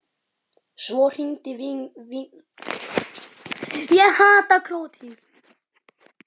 Svo hringdi vinkona mín.